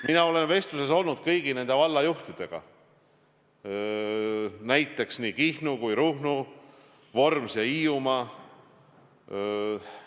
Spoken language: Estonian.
Mina olen vestluses olnud kõigi nende vallajuhtidega, nii Kihnu, Ruhnu, Vormsi kui ka Hiiumaa juhtidega.